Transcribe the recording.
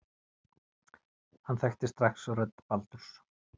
Hann þekkti strax rödd Baldurs.